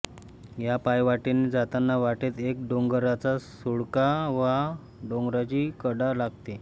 या पायवाटेने जाताना वाटेत एक डोंगराचा सुळका वा डोंगराची कडा लागते